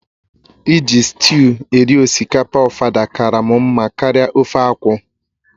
Iji sịtịụ eri osikapa ofada kara m mma karịa ofe akwụ